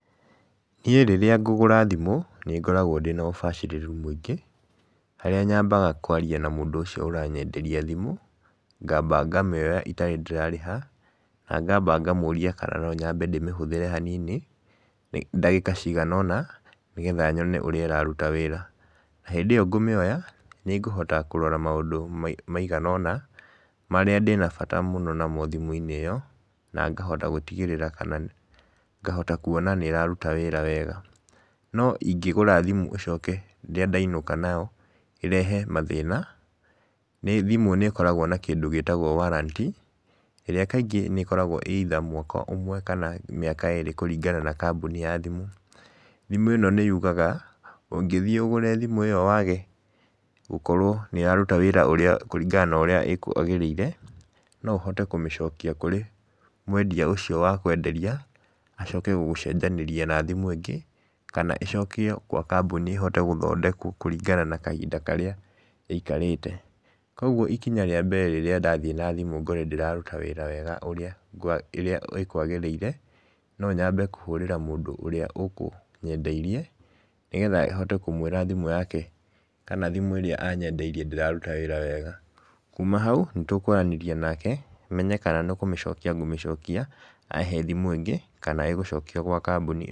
Niĩ rĩrĩa ngũgũra thimũ nĩ ngoragwo ndĩna ũbacĩrĩru mũingĩ, harĩa nyambaga kũaria na mũndũ ũcio ũranyenderia thimũ, ngamba ngamĩoya itarĩ ndĩrarĩha, na ngamba ngamũria kana no nyambe ndĩmĩhũthĩre hanini, ndagĩka cigana ũna nĩgetha nyone ũrĩa ĩraruta wĩra. Hĩndĩ ĩyo ngũmĩona, nĩngũhota kũrora maũndũ maigana ũna, marĩa ndĩna bata namo mũno thimũ-inĩ ĩyo, na ngahota gũtigĩrĩra kana ngahota kuona nĩ ĩraruta wĩra wega. No ingĩgũra thimũ ĩcoke rĩrĩa ndainũka nayo ĩrehe mathĩna, thimũ nĩ ĩkoragwo na kĩndũ gĩtagwo warranty, ĩrĩa kaingĩ nĩ ĩkoragwo ĩ either mwaka ũmwe kana mĩaka ĩrĩ kũringana na kambuni ya thimũ. Thimũ ĩno nĩ yugaga, ũngĩthiĩ ũgũre thimũ ĩyo wage gũkorwo nĩ yaruta wĩra ũrĩa kũringana na ũrĩa ĩkwagĩrĩire, no ũhote kũmĩcokia kũrĩ mwendia ũcio wakwenderia, ahote gũgũcenjanĩria na thimũ ĩngĩ, kana ĩcokio gwa kambuni ĩhote gũthondekwo kũringana na kahinda karĩa ĩikarĩte. Koguo ikinya rĩa mbere rĩrĩa ndathiĩ na thimũ ngore ndĩraruta wĩra wega ũrĩa ĩkwagĩrĩire, no nyambe kũhũrĩra mũndũ ũrĩa ũkũnyendeirie, nĩgetha hote kũmwĩra thimũ yake kana thimũ ĩrĩa anyendeirie ndĩraruta wĩra wega, kuuma hau nĩ tũkwaranĩria nake, menye kana nĩ kũmĩcokia ngũmĩcokia ahe thimũ ĩngĩ, kana ĩgũcokio gwa kambuni.